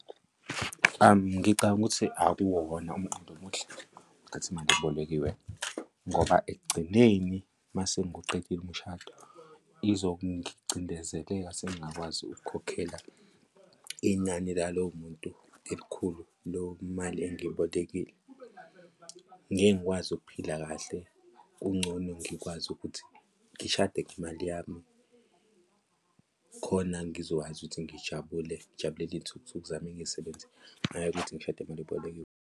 Ngicabanga ukuthi akuwona umqondo omuhle ukuthatha imali ebolekiwe ngoba ekugcineni mase ngiwuqedile umshado izongicindezeleka sengingakwazi ukukhokhela inani la lowo muntu elikhulu leyo mali engiyibolekile, ngeke ngikwazi ukuphila kahle, kungcono ngikwazi ukuthi ngishade ngemali yami khona ngizokwazi ukuthi ngijabule, ngijabulele iy'thukuthuku zami engiy'sebenzele, hhayi ukuthi ngishade ngemali ebolekiwe.